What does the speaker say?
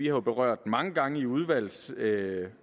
jo berørt den mange gange i udvalgssammenhæng og